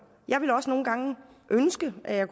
jeg ville også nogle gange ønske at jeg